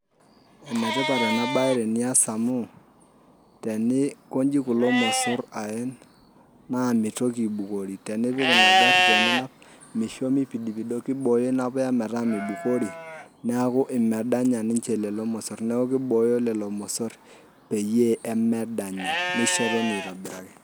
Enetipat enabae tenias amu, teninkoji kulo mosor aen, naa mitoki aibukori. Tenipik ina garri teninap misho mipidipido kibooyo inapuya metaa mibukori, naku imedanya ninche lelo mosor. Naku kibooyo lelo mosor peyie emedanya. Nisho etoni aitobiraki.